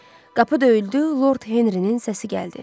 Qapı döyüldü, Lord Henrinin səsi gəldi.